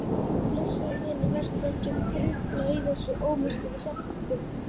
Blessaður vinur, vertu ekki að grufla í þessum ómerkilegu setningum.